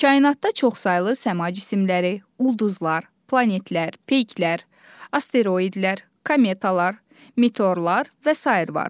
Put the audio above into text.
Kainatda çoxsaylı səma cisimləri, ulduzlar, planetlər, peyklər, asteroidlər, kometalar, meteorlar və sair vardır.